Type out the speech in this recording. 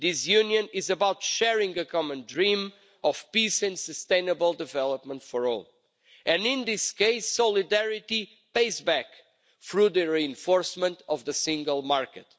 This Union is about sharing a common dream of peace and sustainable development for all and, in this case, solidarity pays back through the reinforcement of the single market.